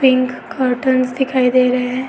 Pink cuddles दिखाई दे रहे हैं।